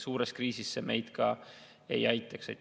Suures kriisis see meid ei aitaks.